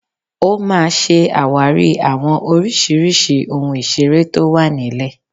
Ó máa ṣe àwárí àwọn oríṣiríṣi ohun ìseré tó wà nílẹ̀